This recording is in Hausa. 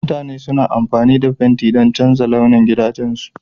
Mutane suna amfani da fenti don canza launin gidajensu